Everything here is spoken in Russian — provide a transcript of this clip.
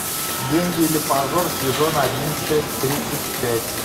деньги или позор сезон один часть тридцать пять